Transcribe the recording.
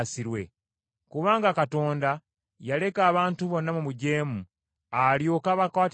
Kubanga Katonda yaleka abantu bonna mu bujeemu alyoke abakwatirwe ekisa.